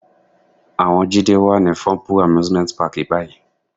Àwọn Jídé wà ní Funple Amusement Park báyìí.